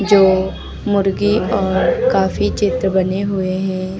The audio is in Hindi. जो मुर्गी और काफी चित्र बने हुए हैं।